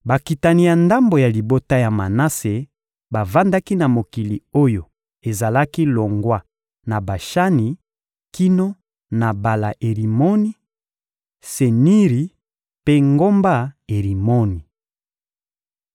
Bakitani ya ndambo ya libota ya Manase bavandaki na mokili oyo ezalaki longwa na Bashani kino na Bala-Erimoni, Seniri mpe ngomba Erimoni.